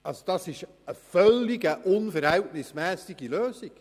»– Das ist eine völlig unverhältnismässige Lösung!